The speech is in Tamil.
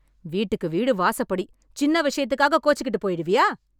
வீட்டுக்கு வீடு வாசப்படி... சின்ன விஷயத்துக்காக கோச்சுக்கிட்டு போய்டுவியா?